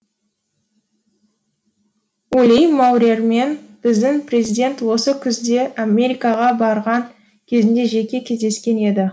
ули маурермен біздің президент осы күзде америкаға барған кезінде жеке кездескен еді